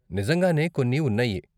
నిజంగానే కొన్ని ఉన్నాయి.